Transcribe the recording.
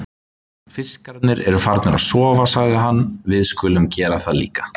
Fiskarnir eru farnir að sofa, sagði hann, við skulum gera það líka.